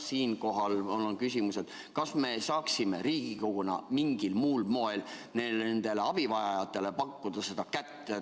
Siinkohal on mul küsimus: kas me saaksime Riigikoguna mingil muul moel nendele abivajajatele abikätt pakkuda?